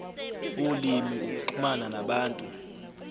ulimi ukuxhumana nabantu